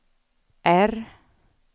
R